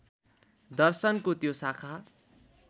दर्शनको त्यो शाखा